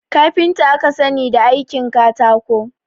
Kafinta aka sani da aikin katako